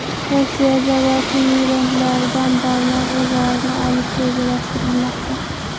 Rossiyada barcha migrantlardan barmoq izlarini olish rejalashtirilmoqda.